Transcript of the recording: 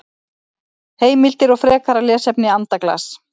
Heimildir og frekara lesefni Andaglas.